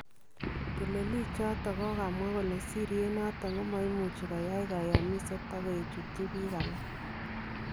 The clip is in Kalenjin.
Teleliik choton kokamwaa kole sirityeet noton komaimuch koyai kayamiseet ak kokechutyi biik alaak